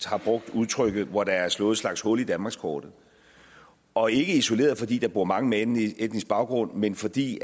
har brugt udtrykket hvor der er slået en slags hul i danmarkskortet og ikke isoleret fordi der bor mange med anden etnisk baggrund men fordi